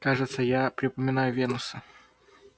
кажется я припоминаю венуса